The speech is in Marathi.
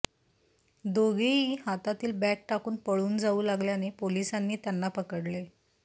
दोघेही हातातील बॅग टाकून पळून जाऊ लागल्याने पोलिसांनी त्यांना पकडले